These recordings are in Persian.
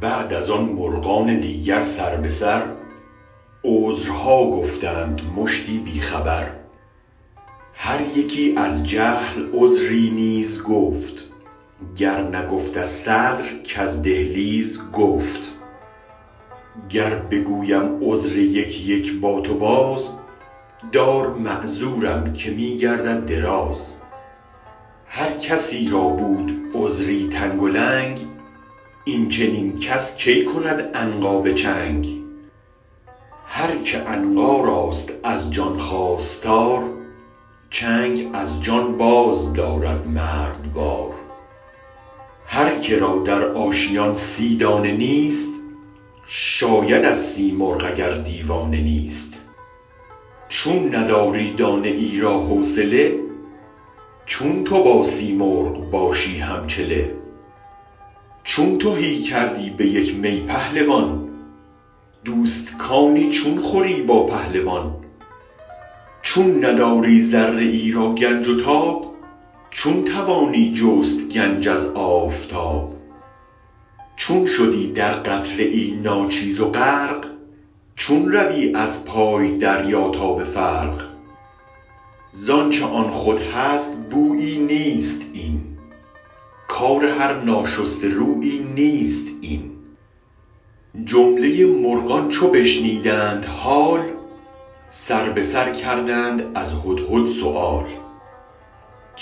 بعد از آن مرغان دیگر سر به سر عذرها گفتند مشتی بی خبر هر یکی از جهل عذری نیز گفت گر نگفت از صدر کز دهلیز گفت گر بگویم عذر یک یک با تو باز دار معذورم که می گردد دراز هر کسی را بود عذری تنگ و لنگ این چنین کس کی کند عنقا به چنگ هرک عنقا راست از جان خواستار چنگ از جان باز دارد مردوار هر که را در آشیان سی دانه نیست شاید از سیمرغ اگر دیوانه نیست چون نداری دانه ای را حوصله چون تو با سیمرغ باشی هم چله چون تهی کردی به یک می پهلوان دوستکانی چون خوری با پهلوان چون نداری ذره ای را گنج و تاب چون توانی جست گنج از آفتاب چون شدی در قطره ای ناچیز غرق چون روی از پای دریا تا به فرق زآنچ آن خود هست بویی نیست این کار هر ناشسته رویی نیست این جمله مرغان چو بشنیدند حال سر به سر کردند از هدهد سؤال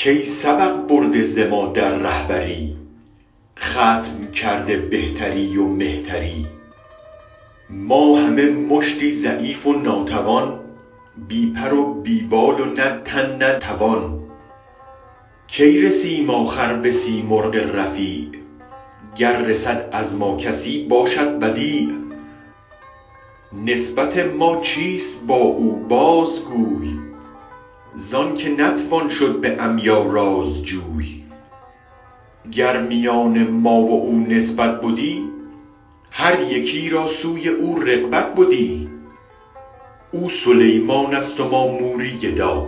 کای سبق برده ز ما در ره بری ختم کرده بهتری و مهتری ما همه مشتی ضعیف و ناتوان بی پر و بی بال نه تن نه توان کی رسیم آخر به سیمرغ رفیع گر رسد از ما کسی باشد بدیع نسبت ما چیست با او بازگوی زآنک نتوان شد به عمیا رازجوی گر میان ما و او نسبت بدی هر یکی را سوی او رغبت بدی او سلیمان ست و ما موری گدا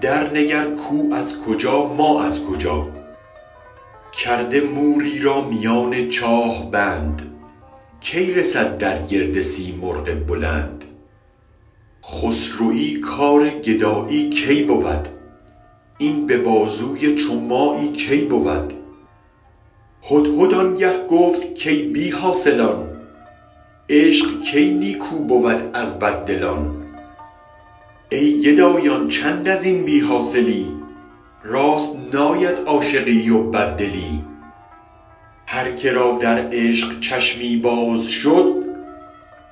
درنگر کو از کجا ما از کجا کرده موری را میان چاه بند کی رسد در گرد سیمرغ بلند خسروی کار گدایی کی بود این به بازوی چو مایی کی بود هدهد آن گه گفت کای بی حاصلان عشق کی نیکو بود از بددلان ای گدایان چند ازین بی حاصلی راست ناید عاشقی و بددلی هر که را در عشق چشمی باز شد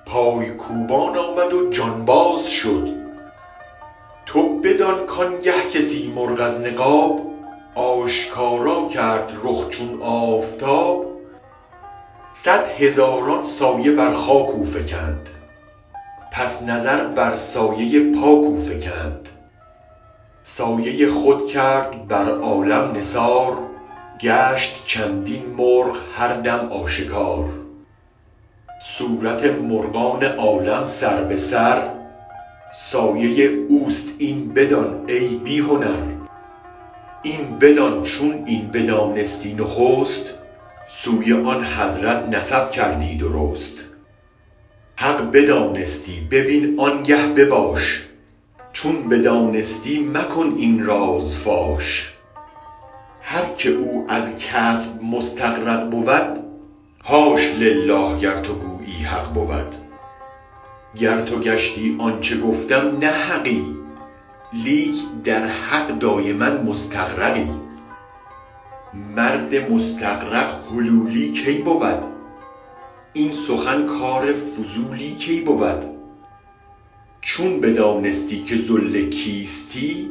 پای کوبان آمد و جانباز شد تو بدان کآن گه که سیمرغ از نقاب آشکارا کرد رخ چون آفتاب صد هزاران سایه بر خاک او فکند پس نظر بر سایه پاک او فکند سایه خود کرد بر عالم نثار گشت چندین مرغ هر دم آشکار صورت مرغان عالم سر به سر سایه اوست این بدان ای بی هنر این بدان چون این بدانستی نخست سوی آن حضرت نسب کردی درست حق بدانستی ببین آن گه بباش چون بدانستی مکن این راز فاش هرک او از کسب مستغرق بود حاش لله گر تو گویی حق بود گر تو گشتی آنچ گفتم نه حقی لیک در حق دایما مستغرقی مرد مستغرق حلولی کی بود این سخن کار فضولی کی بود چون بدانستی که ظل کیستی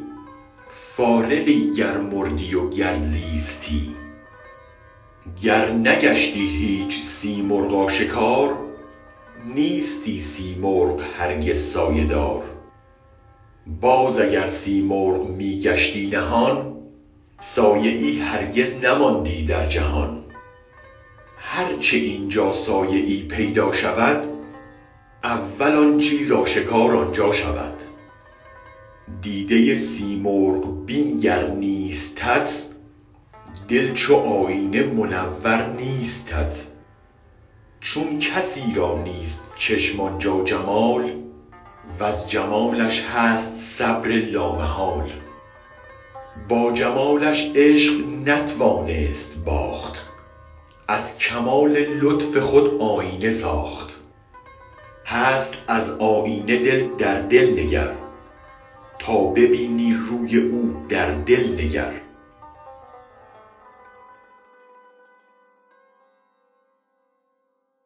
فارغی گر مردی و گر زیستی گر نگشتی هیچ سیمرغ آشکار نیستی سیمرغ هرگز سایه دار باز اگر سیمرغ می گشتی نهان سایه ای هرگز نماندی در جهان هرچ این جا سایه ای پیدا شود اول آن چیز آشکار آن جا شود دیده سیمرغ بین گر نیستت دل چو آیینه منور نیستت چون کسی را نیست چشم آن جمال وز جمالش هست صبر لامحال با جمالش عشق نتوانست باخت از کمال لطف خود آیینه ساخت هست از آیینه دلدر در دل نگر تا ببینی روی او در دل نگر